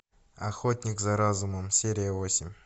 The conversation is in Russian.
охотник за разумом серия восемь